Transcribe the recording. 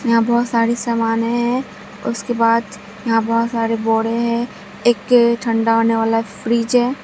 यहां बहोत सारी समाने हैं उसके बाद यहां बहोत सारे बोड़े है एक ठंडा होने वाला फ्रिज है।